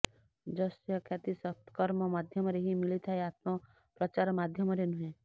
ଯଶ ଖ୍ୟାତି ସତ୍କର୍ମ ମାଧ୍ୟମରେ ହିଁ ମିଳିଥାଏ ଆତ୍ମପ୍ରଚାର ମାଧ୍ୟମରେ ନୁହେଁ